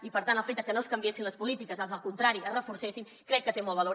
i per tant el fet de que no es canviessin les polítiques ans al contrari es reforcessin crec que té molt valor